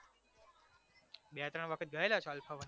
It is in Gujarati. બે ત્રણ વખત ગયેલા alpha one માં